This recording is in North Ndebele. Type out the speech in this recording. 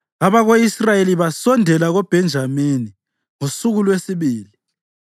Abako-Israyeli basondela koBhenjamini ngosuku lwesibili.